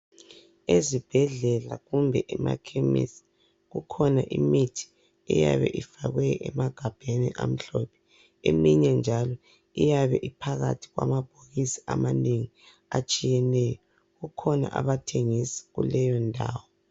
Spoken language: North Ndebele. Ezibhedlela kumbe emakhemesii, kukhona imithi eyabe ifakwae emagabheni amhlophe, eminye njalo iyabe iphakathi kwamabhokisi amanengi atshiyeneyo. Kukhona abathengisa kuleyo ndawo